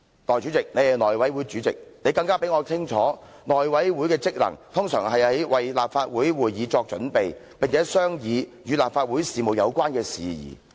代理主席，你是內務委員會主席，你比我更清楚內務委員會的職能，通常是為立法會會議作準備，並且商議與立法會事務有關的事宜。